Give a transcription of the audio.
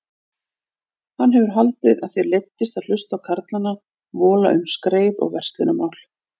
Hann hefur haldið að þér leiddist að hlusta á karlana vola um skreið og verslunarmál.